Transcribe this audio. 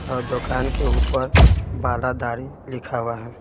और दुकान के ऊपर बाला दाढ़ी लिखा हुआ है।